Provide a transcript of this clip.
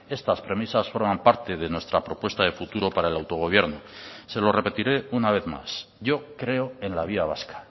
estas premisas forman parte de nuestra propuesta de futuro para el autogobierno se lo repetiré una vez más yo creo en la vía vasca